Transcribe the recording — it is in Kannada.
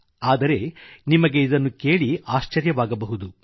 ಆದರೆ ನಿಮಗೆ ಇದನ್ನು ಕೇಳಿ ಆಶ್ಚರ್ಯವಾಗಬಹುದು